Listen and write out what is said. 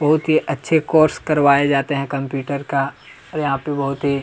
बहुत ही अच्छे कोर्स करवाए जाते है कंप्यूटर का और यहाँ पे बहुत ही--